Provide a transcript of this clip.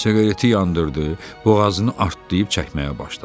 Siqareti yandırdı, boğazını dartdııb çəkməyə başladı.